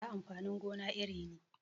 Gyaɗa amfanin gona iri ne